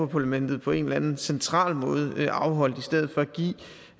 parlamentet på en eller anden central måde afholdt i stedet for